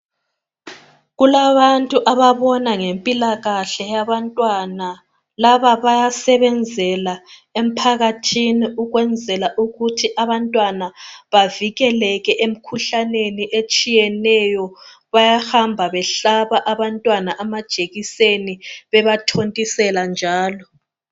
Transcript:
Kulabantu ababona ngempilakahle yabantwana, laba bayasebenzela emphakathini ukwenzela ukuthi abantwana bavikeleke emkhuhlaneni etshiyeneyo. Bayahamba behlaba abantwana amajekiseni bebathontisela njalo.